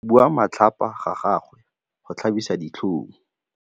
Go bua matlhapa ga gagwe go tlhabisa ditlhong.